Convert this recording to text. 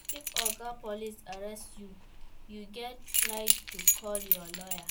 If oga police arrest you, you get right to call your lawyer